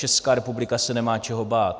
Česká republika se nemá čeho bát...